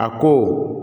A ko